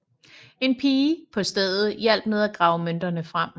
En pige på stedet hjalp med at grave mønterne frem